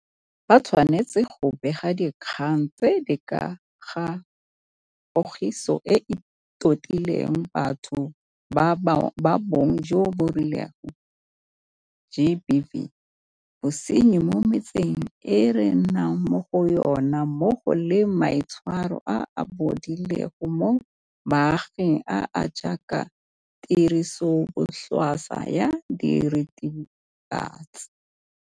Ba tshwanetse go bega dikgang tse di ka ga Pogiso e e Totileng Batho ba Bong jo bo Rileng GBV, bosenyi mo metseng e re nnang mo go yona mmogo le maitshwaro a a bodileng mo baaging a a jaaka tirisobotlhaswa ya diritibatsi.